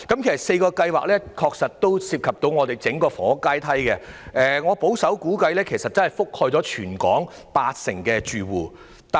上述4項計劃均涉及整體的房屋階梯，而我保守估計已涵蓋全港八成住戶。